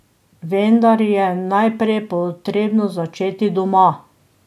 Vendar je najprej potrebno začeti doma.